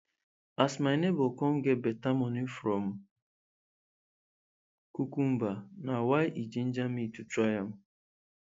as my neighbour come get beta moni from cucumber na why e ginger me to try am